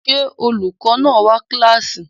Se olukọ náa wa ninu kilasi?